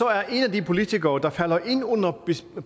er en af de politikere der falder ind under